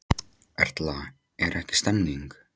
Erla, er ekki stemning?